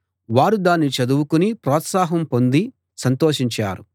వారు దాన్ని చదువుకుని ప్రోత్సాహం పొంది సంతోషించారు